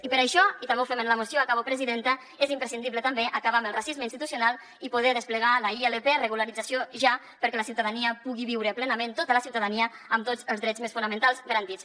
i per això i també ho fem en la moció acabo presidenta és imprescindible també acabar amb el racisme institucional i poder desplegar la ilp regularització ja perquè la ciutadania pugui viure plenament tota la ciutadania amb tots els drets més fonamentals garantits